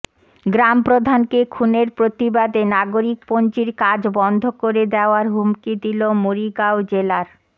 গ্রামপ্রধানকে খুনের প্রতিবাদে নাগরিক পঞ্জীর কাজ বন্ধ করে দেওয়ার হুমকি দিল মরিগাঁও জেলার